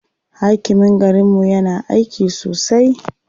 Hakimin garinmu yana aiki sosai.